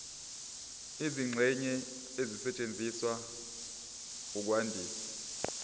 izingxenye ezisetshenziswa ukwandisa